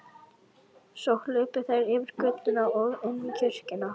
Svo hlupu þær yfir götuna og inn í kirkjuna.